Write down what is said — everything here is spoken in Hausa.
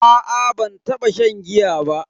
A'a ban taba shan giya ba.